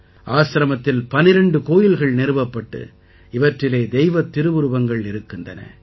ஆசிரமத்தில் 12 கோயில்கள் நிறுவப்பட்டு இவற்றிலே தெய்வத் திருவுருவங்கள் இருக்கின்றன